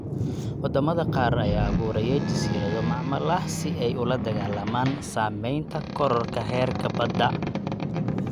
Wadamada qaar ayaa abuuraya jasiirado macmal ah si ay ula dagaalamaan saamaynta kororka heerka badda.